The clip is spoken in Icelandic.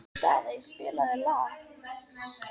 Daðey, spilaðu lag.